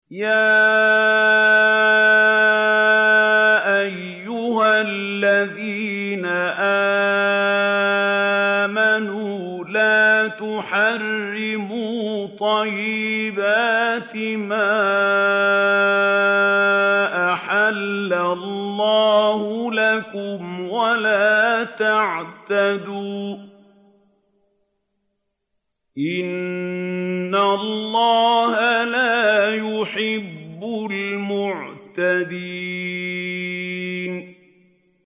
يَا أَيُّهَا الَّذِينَ آمَنُوا لَا تُحَرِّمُوا طَيِّبَاتِ مَا أَحَلَّ اللَّهُ لَكُمْ وَلَا تَعْتَدُوا ۚ إِنَّ اللَّهَ لَا يُحِبُّ الْمُعْتَدِينَ